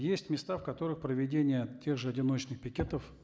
есть места в которых проведение тех же одиночных пикетов